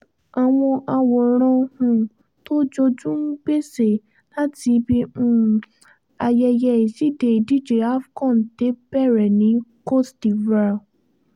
àwọn àwòrán um tó jojú-n-gbèsè láti ibi um ayẹyẹ ìṣíde ìdíje afco té bẹ̀rẹ̀ ní côte divoire